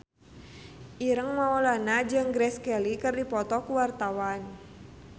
Ireng Maulana jeung Grace Kelly keur dipoto ku wartawan